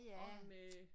Og med